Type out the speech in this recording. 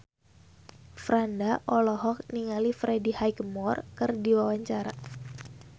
Franda olohok ningali Freddie Highmore keur diwawancara